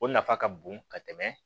O nafa ka bon ka tɛmɛ